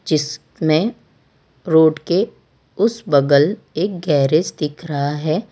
जिसमें रोड के उस बगल एक गैरेज दिख रहा है।